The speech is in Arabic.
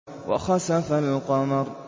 وَخَسَفَ الْقَمَرُ